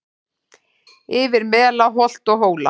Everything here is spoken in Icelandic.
Yfir mela holt og hóla